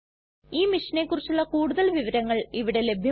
ഈ മിഷനെ കുറിച്ചുള്ള കുടുതൽ വിവരങ്ങൾ ഇവിടെ ലഭ്യമാണ്